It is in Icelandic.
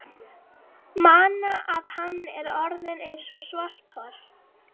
mana að hann er orðinn eins og svarthol.